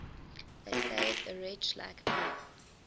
that saved a wretch like me